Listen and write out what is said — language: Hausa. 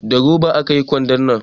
Da roba aka yi kwandon nan